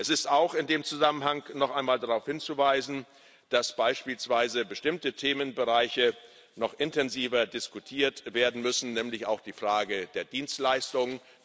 Es ist auch in dem Zusammenhang noch einmal darauf hinzuweisen, dass beispielsweise bestimmte Themenbereiche noch intensiver diskutiert werden müssen, nämlich auch die Frage der Dienstleistungen.